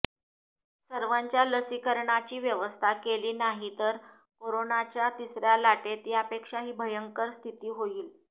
सर्वांच्या लसीकरणाची व्यवस्था केली नाही तर करोनाच्या तिसऱ्या लाटेत यापेक्षाही भयंकर स्थिती होईल